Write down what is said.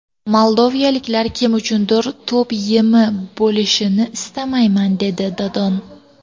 Moldovaliklar kim uchundir to‘p yemi bo‘lishini istamayman”, dedi Dodon.